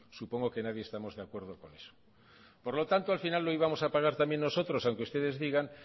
supongo que nadie estamos de acuerdo con eso por lo tanto al final lo íbamos a pagar también nosotros aunque ustedes digan